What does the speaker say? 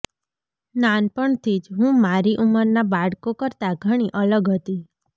નાનપણથી જ હું મારી ઉંમરનાં બાળકો કરતાં ઘણી અલગ હતી